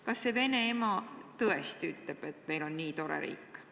Kas see Vene ema tõesti arvab, et meil on tore riik?